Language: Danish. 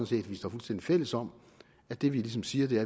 set at vi står fuldstændig fælles om at det vi ligesom siger